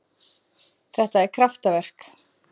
Þetta er kraftaverk.